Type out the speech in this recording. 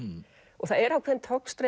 og það er ákveðin togstreita